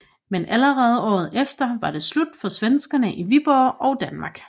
Men allerede året efter var det slut for svenskere i Viborg og Danmark